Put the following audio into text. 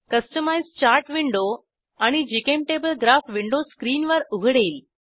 customise chart window आणि GChemTable graph window स्क्रीनवर उघडेल